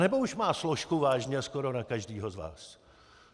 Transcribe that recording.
Anebo už má složku vážně skoro na každého z vás?